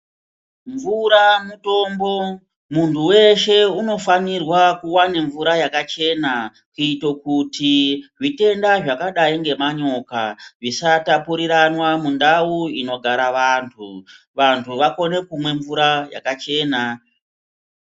Mvura mutombo, muntu weshe unofanirwa kuwane mvura yakachena kuito kuti zvitenda zvakadai ngemanyoka zvisatapuranwa mundau inogara vantu. Vanhu vakone kumwe mvura yakachena.